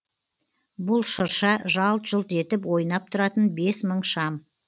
бұл шырша жалт жұлт етіп ойнап тұратын бес мың шам